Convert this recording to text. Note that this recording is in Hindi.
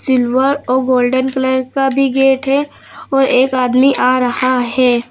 सिल्वर और गोल्डन कलर का भी गेट है और एक आदमी आ रहा है।